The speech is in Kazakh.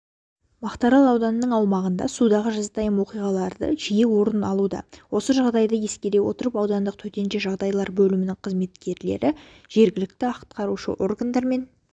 мақтаарал ауданының аумағында судағы жазатайым оқиғалары жиі орын алуда осы жағдайды ескере отырып аудандық төтенше жағдайлар бөлімінің қызметкерлері жергілікті атқарушы органдарымен